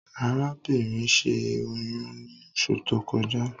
Arábìnrin ṣẹ́ oyún ní oṣù tó kọjá